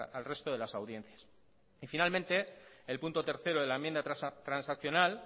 al resto de las audiencias finalmente el punto tercero de la enmienda transaccional